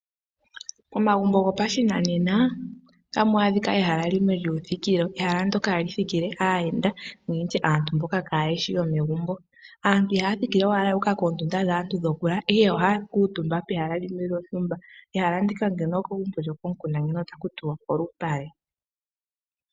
Momagumbo go pashinanena otamu adhika ehala limwe lyuuthikilo. Ehala ndyoka hali thikile aayenda nenge ndi tye aantu mboka kaaye shi yo megumbo. Aantu ihaya thikile owala ya uka koondunda dhaantu dhokulala, ihe ohaya kuutumba pehala limwe lyontumba. Ehala ndika ngeno okwali okomukunda ngeno ota ku tiwa oshinyanga.